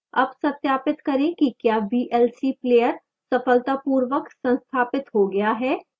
अब सत्यापित करें कि क्या vlc player सफलतापूर्वक संस्थापित हो गया है